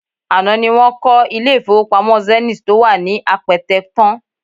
Àná ni wọ́n kọ́ ilé-ìfowópamọ́ Zenith tó wà ní Apẹtẹ tán